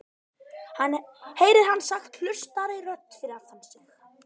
heyrir hann sagt hlutlausri rödd fyrir aftan sig.